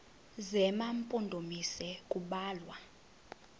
zema mpondomise kubalwa